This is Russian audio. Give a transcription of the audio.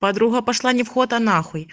подруга пошла не вход а нахуй